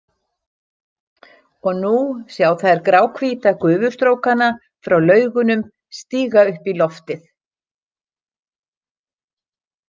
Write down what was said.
Og nú sjá þær gráhvíta gufustrókana frá Laugunum stíga upp í loftið.